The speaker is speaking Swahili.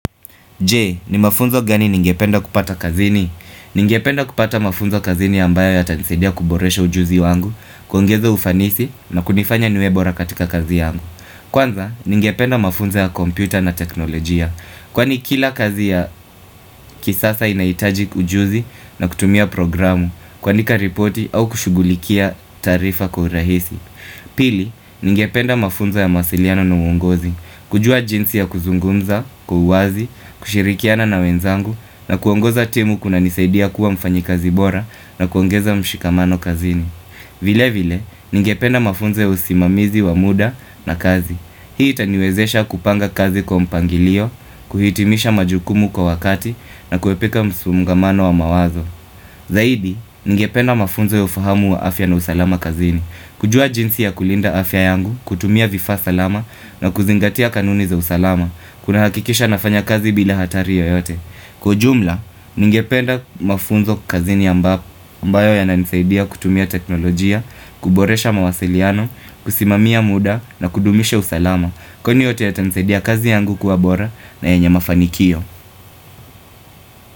Je? Ni mafunzo gani ningependa kupata kazini? Ningependa kupata mafunzo kazini ambayo yatanisaidia kuboresha ujuzi wangu, kuongeza ufanisi na kunifanya niwe bora katika kazi yangu. Kwanza, ningependa mafunzo ya kompyuta na teknolojia. Kwani kila kazi ya kisasa inahitaji ujuzi na kutumia programu, kuandika ripoti au kushugulikia taarifa kwa urahisi. Pili, ningependa mafunzo ya mawasiliano na uongozi, kujua jinsi ya kuzungumza kwa uwazi, kushirikiana na wenzangu na kuongoza timu kunanisaidia kuwa mfanyikazi bora na kuongeza mshikamano kazini Vilevile, ningependa mafunzo ya usimamizi wa muda na kazi. Hii itaniwezesha kupanga kazi kwa mpangilio, kuhitimisha majukumu kwa wakati na kuepuka msongamano wa mawazo Zaidi, ningependa mafunzo ya ufahamu wa afya na usalama kazini kujua jinsi ya kulinda afya yangu, kutumia vifaa salama na kuzingatia kanuni za usalama kunahakikisha nafanya kazi bila hatari yoyote. Kwa ujumla, ningependa mafunzo kukazini ambayo yananisaidia kutumia teknolojia, kuboresha mawasiliano, kusimamia muda na kudumisha usalama Kwani yote yatanisaidia kazi yangu kuwa bora na yenye mafanikio.